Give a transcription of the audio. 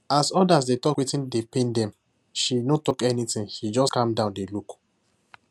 as others dey talk wetin dey pain them she no talk anything she just calm down dey look